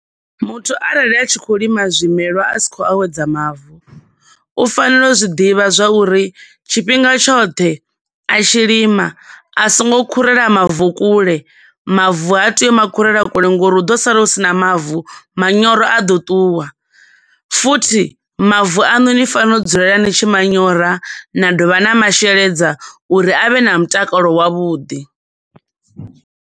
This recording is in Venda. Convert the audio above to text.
Muthu arali a tshi khou lima zwimelwa a si khou awedza mavu, u fanela u zwi ḓivha zwa uri tshifhinga tshoṱhe a tshi lima a songo khurela mavu kule, mavu ha teyi u makhurela kule ngo uri hu ḓo sala hu sina mavu, manyoro a ḓo ṱuwa, futhi mavu aṋu ni fanela u dzulela ni tshi manyora na dovha na masheledza uri avhe na mutakalo wavhuḓi.